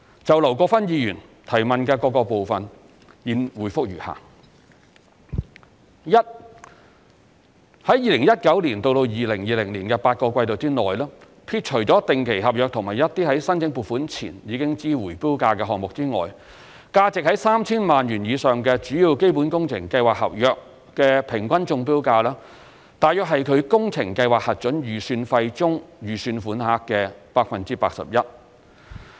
就劉國勳議員質詢的各個部分，現答覆如下：一在2019年至2020年的8個季度內，撇除定期合約和一些在申請撥款前已知回標價的項目外，價值在 3,000 萬元以上的主要基本工程計劃合約的平均中標價約為其工程計劃核准預算費中預算款項的 81%。